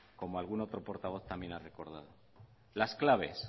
como algún otro portavoz también lo ha recordado las claves